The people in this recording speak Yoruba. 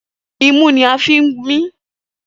Imú ni a fi ń mí.